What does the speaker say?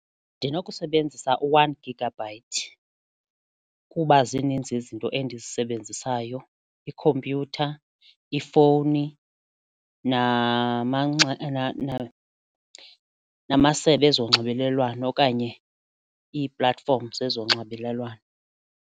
Ndinokusebenzisa u-one gigabyte kuba zininzi izinto endizisebenzisayo ikhompyutha, ifowuni namasebe ezonxibelelwano okanye ii-platform zezonxibelelwano.